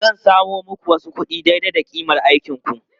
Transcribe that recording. Zan samo muku wasu kuɗi daidai da ƙimar aikinku.